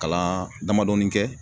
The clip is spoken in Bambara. Kalan damadɔɔni kɛ